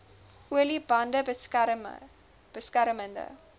olie bande beskermende